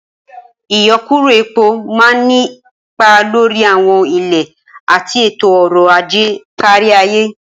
Ìyọkuro epo máa ń nípa lórí àwọn ilẹ̀ àti ètò ọrọ̀ ajé kárí ayé.